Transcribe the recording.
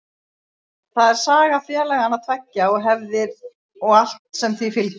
Það er saga félagana tveggja og hefðir og allt sem því fylgir.